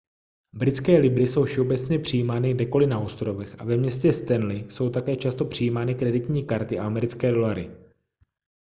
britské libry jsou všeobecně přijímány kdekoli na ostrovech a ve městě stanley jsou také často přijímány kreditní karty a americké dolary